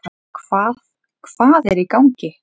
Hvað, hvað er í gangi?